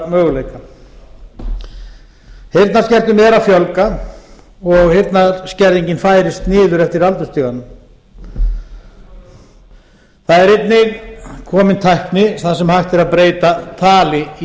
heyrnarmöguleika heyrnarskertum er að fjölga og heyrnarskerðing færðist niður eftir aldurstiganum það er einnig komin tækni þar sem hægt er að breyta tali í